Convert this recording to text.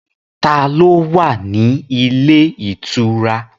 Ta ló wà ní ilé ìtura?